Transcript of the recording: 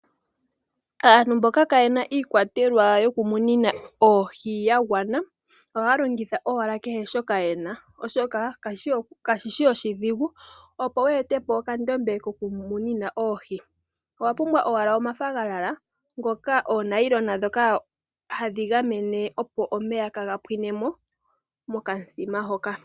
Aantu mboka kayena iikwatelwa yoku munina oohi ya gwana ohaya longithq owala kehe shoka yena oshoka kashishi oshidhigu opo we ete po okandombe koku munina oohi owa pumbwa owala omafaganyana ,oonailona dhoka hadhi gamene opo omeya kaa ga pwine mo mokamuthima.